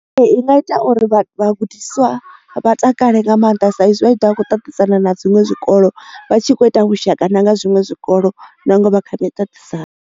Ee i nga ita uri vha vhagudiswa vha takale nga maanḓa saizwi vha tshi da vhakho ṱaṱisana na dziṅwe zwikolo vha tshi kho ita vhushaka na nga zwiṅwe zwikolo na ngwe vha kha miṱaṱisano.